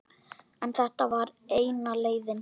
En þetta var eina leiðin.